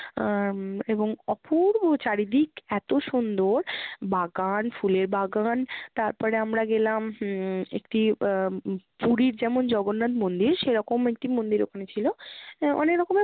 আহ এবং অপূর্ব চারিদিক, এতো সুন্দর! বাগান, ফুলের বাগান। তারপরে আমরা গেলাম হম একটি আহ পুরীর যেমন জগ্ননাথ মন্দির সেরকম একটি মন্দির ওখানে ছিলো। আহ অনেক রকমের